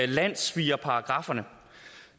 landssvigerparagrafferne